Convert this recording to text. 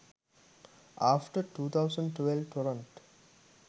after 2012 torrent